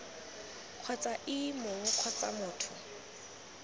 kgotsa ii mong kgotsa motho